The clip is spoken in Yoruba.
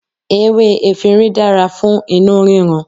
Ewé efinrin dára fún inú rírun.